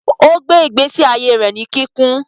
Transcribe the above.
Ogbe igbesi aiye rẹ ní kikún